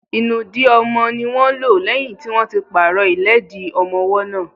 Ìnùdí ọmọ ní wọ́n lò lẹ́yìn tí wọ́n ti pàrọ̀ ìlẹ́dì ọmọwọ́ náà.